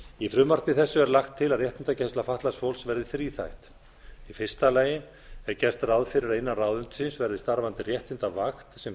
í frumvarpi þessu er lagt til að réttindagæsla fatlaðs fólks verði þríþætt í fyrsta lagi er gert ráð fyrir að innan ráðuneytisins verði starfandi réttindavakt sem